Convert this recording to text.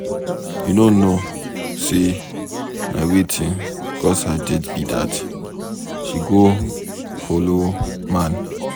You know no say na wetin cause her death be dat. She go follow man.